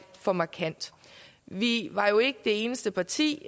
for markant vi var jo ikke det eneste parti